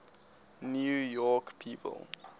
new york people